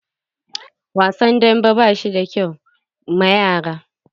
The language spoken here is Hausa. Wasan dambe ba shi da kyau ma yara.